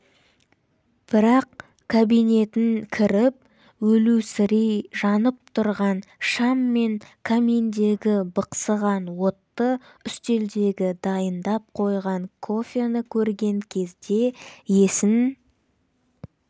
бірақ кабинетін кіріп өлусірей жанып тұрған шам мен каминдегі бықсыған отты үстелдегі дайындап қойған кофені көрген кезде есін